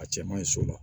A cɛ man ɲi so la